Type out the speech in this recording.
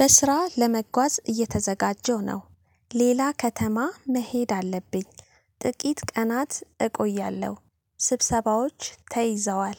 በስራ ለመጓዝ እየተዘጋጀው ነው። ሌላ ከተማ መሄድ አለብኝ። ጥቂት ቀናት እቆያለሁ ስብሰባዎች ተይዘዋል።